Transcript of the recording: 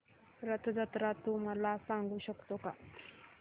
रथ जत्रा तू मला सांगू शकतो का